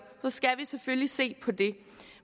skal vi selvfølgelig se på det